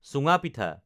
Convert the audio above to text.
চুঙা পিঠা